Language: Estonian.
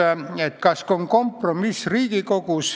Kas Riigikogus on olemas kompromiss?